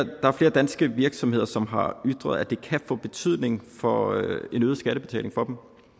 danske virksomheder som har ytret at det kan få betydning for en øget skattebetaling for